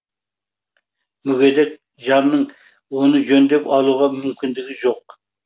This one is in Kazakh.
мүгедек жанның оны жөндеп алуға мүмкіндігі жоқ